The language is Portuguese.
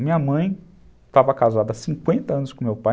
Minha mãe estava casada há cinquenta anos com meu pai.